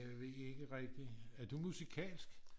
jeg ved ikke rigtig. er du musikalsk?